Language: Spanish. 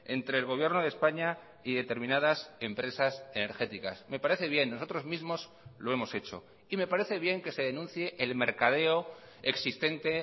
entre el gobierno de españa y determinadas empresas energéticas me parece bien nosotros mismos lo hemos hecho y me parece bien que se denuncie el mercadeo existente